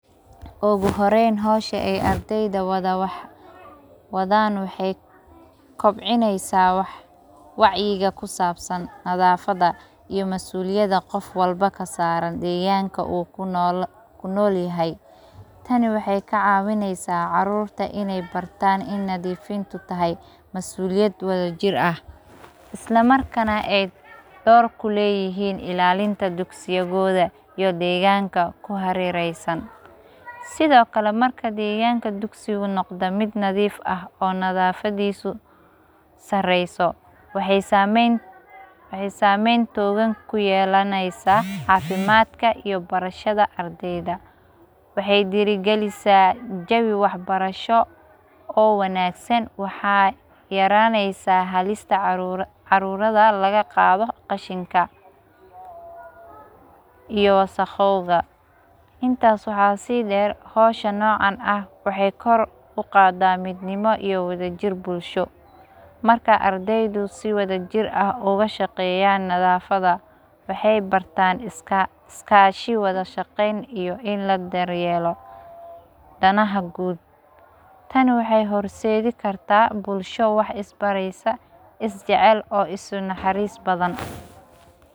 Ugu horeen howsha ee ardeda wadaan waxee kobcineysaa wacyiga kusaabsan nadaafada iyo masuuliyada qof walba kasaaran deeganka uu kunoolyahay. Tani waxey kacaawineysaa caruurta in ay bartaan in nadiifintu tahay masuuliyad wadajir ah ila markana ay door kuleeyihiin ilaalinta dugsigooda iyo deeganka kuhareereysan sido kale marki deeganka dugsi uu noqdo mid nadiif ah oo nadaafadiisu sareyso waxey saameyn toogan ku yeelaneysa caafimaadka iyo barashada ardeyda waxey dhiiri galisaa jawi waxbarasho oo wanaagsan waxaa yaraaneysa halista caruurada laga qaado qashinka iyo wasaqooda intaas waxa sii dheer howsha noocan ah waee kor uqaada midnimo iyo wadajir bulsho marka ardeyda si wadajir ah uga shaqeeyan nadaafada waxey bartaan iskaashi wada shaqeyn iyo in la daryeelo danaha guud tani waxey horseedi kartaa bulsho wax isbareysa, isjecel oo isku naxriis badan.